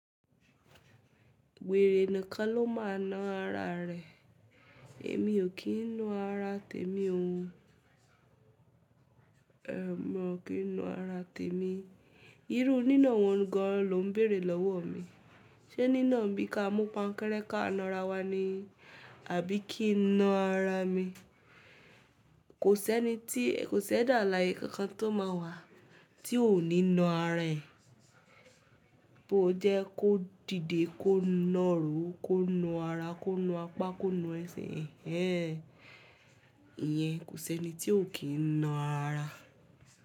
Wèrè nìkan ló máa na ara rẹ̀. Èmi ò kí ń na ara tèmi o. Èmi ò kí ń na ara tèmi. Irú nínà wọ́n gan ló ń bèèrè lọ́wọ́ mi. Ṣé nínà bí ka mú pankẹrẹ́ ka na ara wa ni? Àbí kí ń na ara mi? Kò sẹ́ni tí, kò si ẹ́dà álàye kankan tó máa wà tí ò ní na ara è. Bó jẹ́ kó dìde, kó nàró, kó na ara, kó na apá, kó na ẹṣe, ẹn en, Ìyẹn kò si ẹ́ni tí ò kí ń na ara.